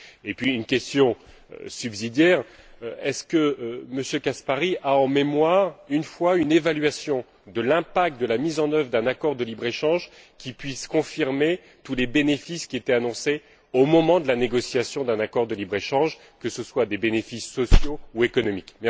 Puis une question subsidiaire est ce que M. Caspary a en mémoire une seule évaluation de l'impact de la mise en œuvre d'un accord de libre échange qui puisse confirmer tous les bénéfices qui étaient annoncés au moment de la négociation d'un accord de libre échange, que ce soient des bénéfices sociaux ou économiques?